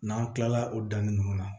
N'an kilala o danni nunnu na